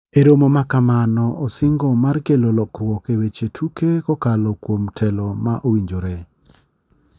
E romo makamnao osingo mar kelo lokruok e weche tuke kokalo kuom telo ma owinjore.